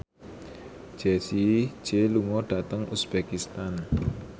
Jessie J lunga dhateng uzbekistan